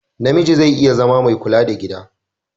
Namiji zai iya zama mai kula da gida.